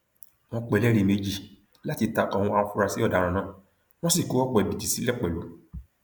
wọn pe ẹlẹrìí méjì láti ta ko àwọn afurasí ọdaràn náà wọn sì kó ọpọ ẹbìítì dá sílẹ pẹlú